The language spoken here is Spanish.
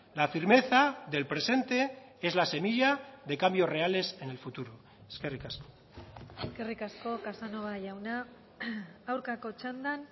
la firmeza del presente es la semilla de cambios reales en el futuro eskerrik asko eskerrik asko casanova jauna aurkako txandan